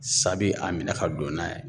Sa be a minɛ ka don n'a ye